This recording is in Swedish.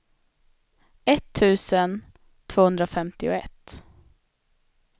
etttusen tvåhundrafemtioett